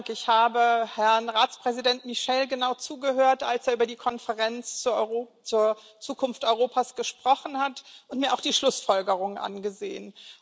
Ich habe Herrn Ratspräsident Michel genau zugehört, als er über die Konferenz zur Zukunft Europas gesprochen hat, mir auch die Schlussfolgerungen angesehen.